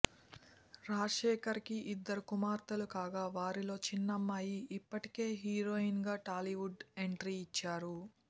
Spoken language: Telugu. రాజశేఖర్ కి ఇద్దరు కుమార్తెలు కాగా వారిలో చిన్న అమ్మాయి ఇప్పటికే హీరోయిన్ గా టాలీవుడ్ ఎంట్రీ ఇచ్చారు